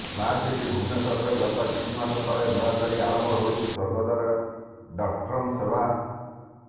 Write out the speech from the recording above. smart city ଭୁବନେଶ୍ୱରରେ ଗତ କିଛି ମାସ ତଳେ ନୂଆ କରି ଆରମ୍ଭ ହୋଇଛି ସ୍ୱର୍ଗଦ୍ୱାର ଡଟ୍କମ୍ର ସେବା